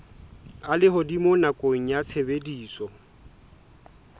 a lehodimo nakong ya tshebediso